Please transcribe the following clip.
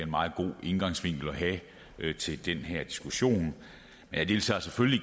meget god indgangsvinkel at have til den her diskussion jeg deltager selvfølgelig